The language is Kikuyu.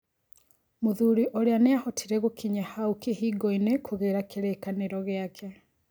Mũthuri ũrĩa nĩahotire gũkinya hau kĩhingoinĩ kugĩra kĩrĩkanĩro gĩake.